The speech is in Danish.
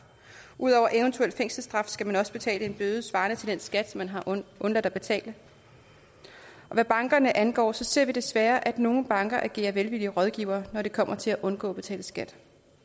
udover eventuel fængselsstraf skal man også betale en bøde svarende til den skat man har undladt at betale og hvad bankerne angår ser vi desværre at nogle banker agerer velvillige rådgivere når det kommer til at undgå at betale skat